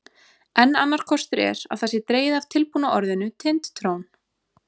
Enn annar kostur er að það sé dregið af tilbúna orðinu Tind-trón.